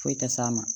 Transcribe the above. Foyi tɛ s'a ma